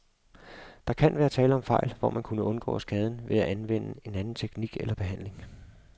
Der kan være tale om fejl, hvor man kunne undgå skaden ved at anvende en anden teknik eller behandling.